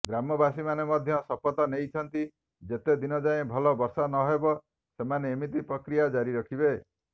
ଗ୍ରାମବାସୀମାନେ ମଧ୍ୟ ଶପଥ ନେଇଛନ୍ତି ଯେତେ ଦିନଯାଏ ଭଲ ବର୍ଷା ନହେବ ସେମାନେ ଏମିତି ପ୍ରକ୍ରିୟା ଜାରି ରଖିବେ